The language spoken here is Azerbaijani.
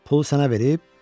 Pul sənə verib?